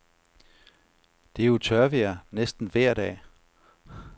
Det er jo tørvejr næsten vejr dag.